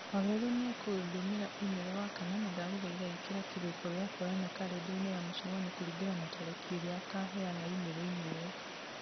wawerũ nĩ ekũndũmĩra i-mĩrũ wakana na ndagũthaitha ĩkĩra kĩrĩko gĩa kwonana karenda-inĩ ya mũcemanio kũringana na tarĩki ĩrĩa akaheana i-mĩrũ -inĩ ĩo